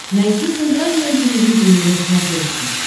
найти центральное телевидение на смотрешке